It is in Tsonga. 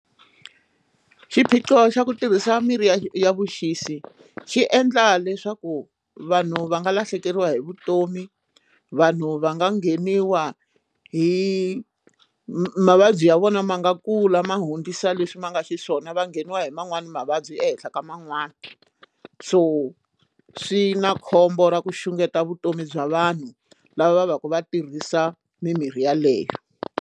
Xiphiqo xa ku tirhisa mirhi ya vuxisi xi endla leswaku vanhu va nga lahlekeriwa hi vutomi vanhu va nga ngheniwa hi mavabyi ya vona ma nga kula ma hundzisa leswi ma nga xiswona va ngheniwa hi man'wani mavabyi ehenhla ka man'wani so swi na khombo ra ku xungeta vutomi bya vanhu lava va va ka va tirhisa mimirhi yeleyo.